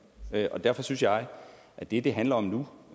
derfor synes jeg at det det handler om nu